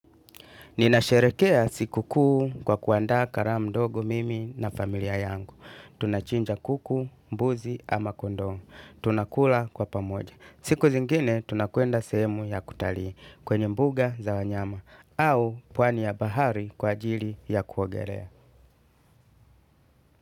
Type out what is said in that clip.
Ninasherekea sikukuu kwa kuandaa karamu ndogo mimi na familia yangu. Tunachinja kuku, mbuzi ama kondoo. Tunakula kwa pamoja. Siku zingine tunakwenda sehemu ya kutalii kwenye mbuga za wanyama au pwani ya bahari kwa ajili ya kuogelea.